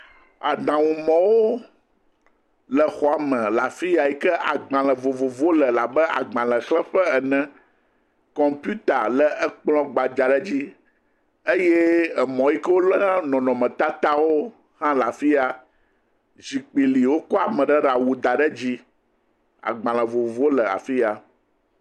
Aɖaŋumɔ̃wo le xɔme le afi ya yi ke agbalẽ vovovowo le labe agbalẽxlẽƒe ene. Kɔmpiuta le ekplɔ̃ gbadza aɖe dzi eye emɔ̃ yi ke woléna nɔnɔmetatawo hã le afia. Zikpi li, wokɔ ame ɖe ɖe awu da ɖe edzi. Agbalẽ vovovowo le afi ya.